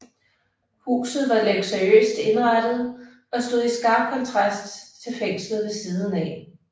Huset var luksuriøst indrettet og stod i skarp kontrast til fængslet ved siden af